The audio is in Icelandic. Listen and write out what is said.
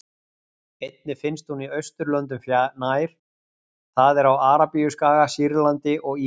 Einnig finnst hún í Austurlöndum nær, það er á Arabíuskaga, Sýrlandi og Írak.